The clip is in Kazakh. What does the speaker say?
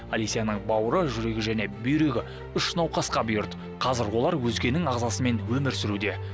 олесяның бауыры жүрегі және бүйрегі үш науқасқа бұйырды қазір олар өзгенің ағзасымен өмір сүруде